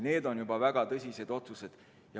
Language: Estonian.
Need on väga tõsised otsused.